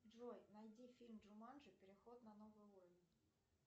джой найди фильм джуманджи переход на новый уровень